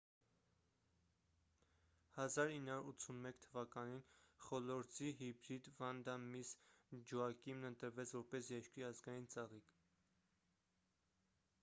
1981 թվականին խոլորձի հիբրիդ վանդա միսս ջոակիմն ընտրվեց որպես երկրի ազգային ծաղիկ